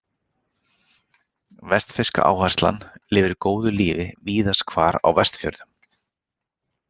Vestfirska áherslan lifir góðu lífi víðast hvar á Vestfjörðum.